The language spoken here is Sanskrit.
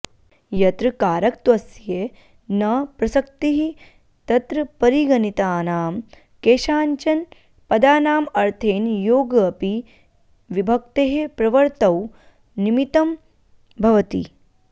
यत्र कारकत्वस्य न प्रसक्तिः तत्र परिगणितानां केषाञ्चन पदानाम् अर्थेन योगोऽपि विभक्तेः प्रवृत्तौ निमित्तं भवति